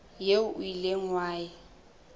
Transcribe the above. eo o ileng wa e